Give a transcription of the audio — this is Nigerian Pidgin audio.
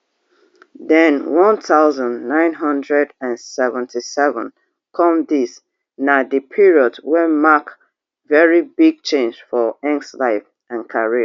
den one thousand, nine hundred and seventy-seven come dis na di period wey mark very big change for nggs life and career